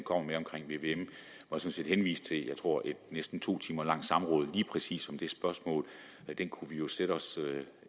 henvise til et jeg tror næsten to timer langt samråd lige præcis om det spørgsmål det kunne vi jo sætte os